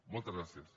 moltes gràcies